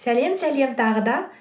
сәлем сәлем тағы да